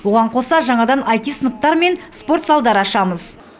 оған қоса жаңадан аити сыныптар мен спорт залдар ашамыз